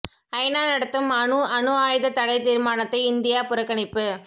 ஐநா நடத்தும் அணு அணு ஆயுத தடை தீர்மானத்தை இந்தியா புறக்கணிப்பு